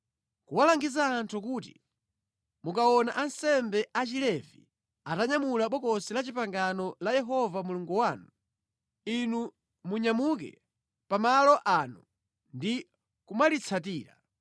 kulangiza anthu kuti, “Mukaona ansembe a Chilevi atanyamula Bokosi la Chipangano la Yehova Mulungu wanu, inu munyamuke pa malo ano ndi kumalitsatira.